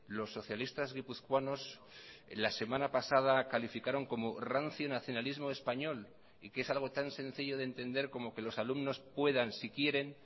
los socialistas guipuzcoanos la semana pasada calificaron como rancio nacionalismo español y que es algo tan sencillo de entender como que los alumnos puedan si quieren